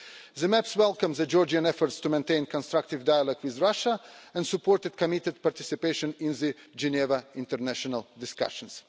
The report welcomes Georgia's efforts to maintain constructive dialogue with Russia and supports its committed participation in the Geneva international discussions.